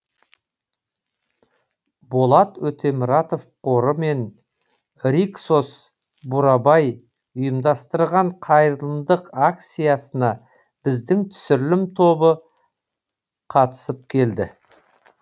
болат өтемұратов қоры мен риксос бурабай ұйымдастырған қайырымдылық акциясына біздің түсірілім тобы да қатысып келді